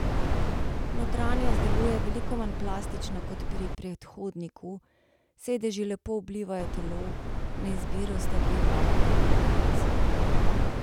Notranjost deluje veliko manj plastično kot pri predhodniku, sedeži lepo oblivajo telo, na izbiro sta dve barvni kombinacij.